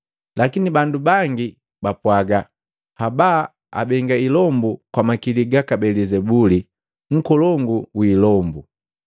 Lakini bandu bangi bapwaga, “Haba, abenga ilombu kwa makili gaka Belizebuli, nkolongu wii hilombu.”